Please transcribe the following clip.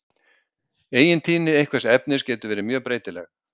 Eigintíðni einhvers efnis getur verið mjög breytileg.